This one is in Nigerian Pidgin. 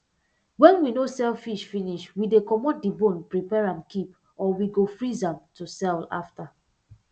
wen we no sell fish finish we dey comot di bone prepare am keep or we go freeze am to sell am after